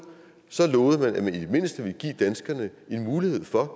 så lovede man at man i det mindste ville give danskerne en mulighed for at